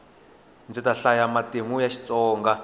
ndzi ta hlaya matimu ya xitsonga